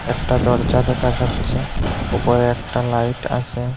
একটা দরজা দেখা যাচ্ছে ওপরে একটা লাইট আছে।